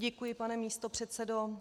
Děkuji, pane místopředsedo.